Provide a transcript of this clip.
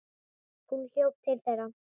Hún hljóp til þeirra.